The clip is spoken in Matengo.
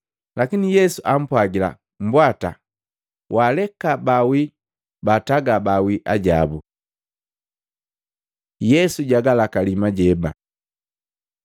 Lakini Yesu ampwagila, “Mbwata! Waaleka baawii baataga baawii ajabu.” Yesu jagalakali majeba Maluko 4:35-41; Luka 8:22-25